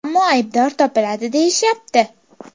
Ammo aybdor topiladi deyishyapti.